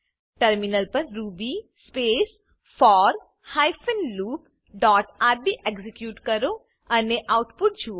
terminal પર ruby space for hyphen loop dot RB execute કરો અને આઉટપુટ જુઓ